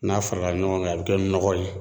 N'a farala ɲɔgɔn kan a bɛ kɛ nɔgɔ ye.